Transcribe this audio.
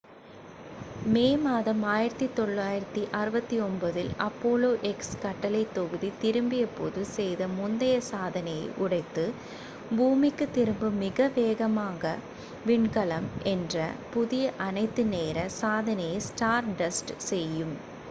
மே மாதம் 1969 இல் apollo x கட்டளை தொகுதி திரும்பிய போது செய்த முந்தைய சாதனையை உடைத்து பூமிக்கு திரும்பும் மிக வேகமாக விண்கலம் என்ற புதிய அனைத்து நேர சாதனையை stardust செய்யும்